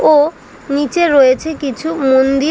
ও নীচে রয়েছে কিছু মন্দি--